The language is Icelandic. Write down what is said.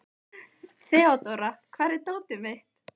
Þeódóra, hvar er dótið mitt?